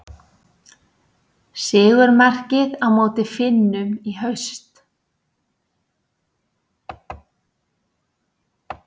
Sigurmarkið á móti Finnum í haust.